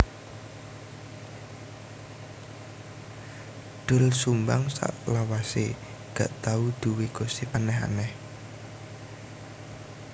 Doel Sumbang saklawase gak tau duwe gosip aneh aneh